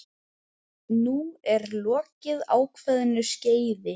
Nú er lokið ákveðnu skeiði.